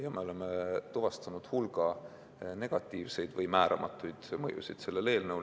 Samas oleme tuvastanud hulga negatiivseid või määramatuid mõjusid.